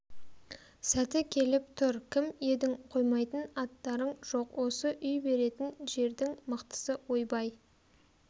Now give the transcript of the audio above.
сәті келіп тұр кім едң қоймайтын аттарың жоқ осы үй беретін жердңі мықтысы ойбай